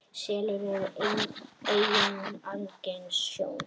Selir eru einnig algeng sjón.